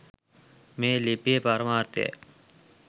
මේ ලිපියේ පරමාර්ථයයි.